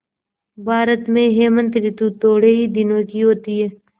भारत में हेमंत ॠतु थोड़े ही दिनों की होती है